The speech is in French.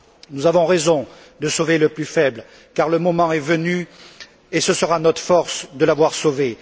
Nous avons raison de sauver le plus faible, car le moment est venu, et ce sera notre force de l'avoir sauvé.